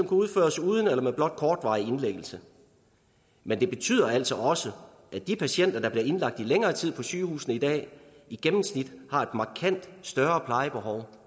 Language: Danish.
udføres uden eller med blot kortvarig indlæggelse men det betyder altså også at de patienter der bliver indlagt i længere tid på sygehusene i dag i gennemsnit har et markant større plejebehov